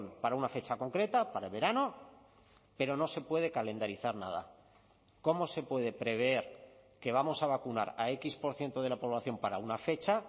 para una fecha concreta para el verano pero no se puede calendarizar nada cómo se puede prever que vamos a vacunar a equis por ciento de la población para una fecha